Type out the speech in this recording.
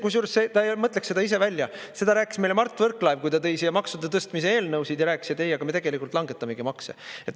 Kusjuures ta ei mõtleks seda ise välja, seda rääkis meile Mart Võrklaev, kui ta tõi siia maksude tõstmise eelnõusid ja rääkis: "Ei, aga me tegelikult langetamegi makse.